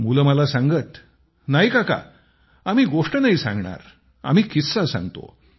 मुले मला सांगत नाही काका आम्ही गोष्ट नाही सांगणार आम्ही किस्सा सांगतो